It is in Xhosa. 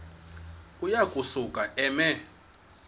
uya kusuka eme